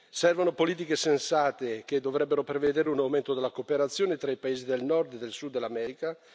Servono politiche sensate che dovrebbero prevedere un aumento della cooperazione tra i paesi del Nord e del Sud dell'America.